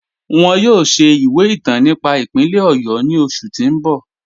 Wọn yọ̀ọ̀ ṣẹ̀ ìwẹ̀ ìtàn nípà ìpínlẹ̀ Ọ̀yọ́ ni oṣù ti n bọ̀.